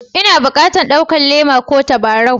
N'na bukatan ɗaukan Le'ma ko tabarau?